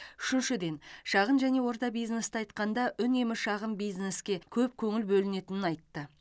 үшіншіден шағын және орта бизнесті айтқанда үнемі шағын бизнеске көп көңіл бөлінетінін айтты